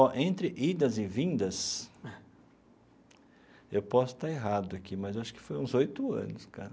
Ó, entre idas e vindas, eu posso estar errado aqui, mas eu acho que foi uns oito anos, cara.